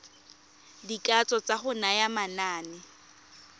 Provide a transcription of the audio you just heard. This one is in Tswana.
dikatso tsa go naya manane